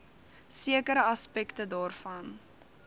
sekere aspekte daarvan